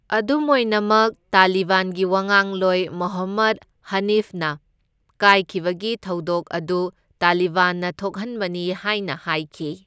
ꯑꯗꯨꯝ ꯑꯣꯏꯅꯃꯛ ꯇꯥꯂꯤꯕꯥꯟꯒꯤ ꯋꯥꯉꯥꯡꯂꯣꯏ ꯃꯨꯍꯝꯃꯗ ꯍꯅꯤꯐꯅ ꯀꯥꯏꯈꯤꯕꯒꯤ ꯊꯧꯗꯣꯛ ꯑꯗꯨ ꯇꯥꯂꯤꯕꯥꯟꯅ ꯊꯣꯛꯍꯟꯕꯅꯤ ꯍꯥꯏꯅ ꯍꯥꯏꯈꯤ꯫